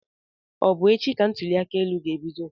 Ọ bụ echi ka ntụliaka ga ebido?